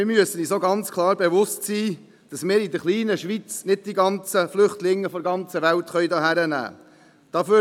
Wir müssen aber auch erkennen, dass wir nicht die ganzen Flüchtlinge der ganzen Welt in der kleinen Schweiz aufnehmen können.